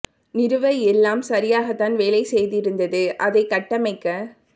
நிறுவ எல்லாம் சரியாக தான் வேலை செய்திருந்தது அதை கட்டமைக்க